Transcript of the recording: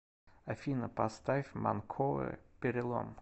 афина поставь манкоре перелом